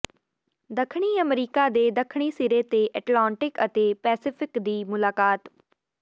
ਦੱਖਣੀ ਅਮਰੀਕਾ ਦੇ ਦੱਖਣੀ ਸਿਰੇ ਤੇ ਐਟਲਾਂਟਿਕ ਅਤੇ ਪੈਸੀਫਿਕ ਦੀ ਮੁਲਾਕਾਤ